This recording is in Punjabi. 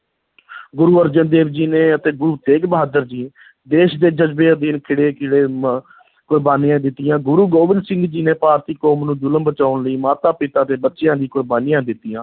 ਗੁਰੂ ਅਰਜਨ ਦੇਵ ਜੀ ਨੇ ਅਤੇ ਗੁਰੂ ਤੇਗ ਬਹਾਦਰ ਜੀ ਦੇਸ਼ ਦੇ ਜਜ਼ਬੇ ਅਧੀਨ ਖਿੜੇ ਕੁਰਬਾਨੀਆਂ ਦਿੱਤੀਆਂ, ਗੁਰੂ ਗੋਬਿੰਦ ਸਿੰਘ ਜੀ ਨੇ ਭਾਰਤੀ ਕੌਮ ਨੂੰ ਜ਼ੁਲਮ ਬਚਾਉਣ ਲਈ ਮਾਤਾ-ਪਿਤਾ ਦੇ ਬੱਚਿਆਂ ਦੀ ਕੁਰਬਾਨੀਆਂ ਦਿੱਤੀਆਂ।